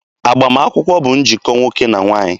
Agbamakwụkwọ bụ njikọ nwoke na nwaanyị.